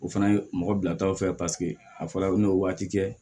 O fana ye mɔgɔ bilatɔ fɛ paseke a fɔra u bɛ n'o waati kɛ